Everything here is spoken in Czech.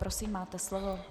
Prosím, máte slovo.